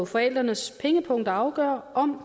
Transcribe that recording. forældrenes pengepung der afgør om